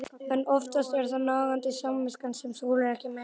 En oftast er það nagandi samviskan sem þolir ekki meir.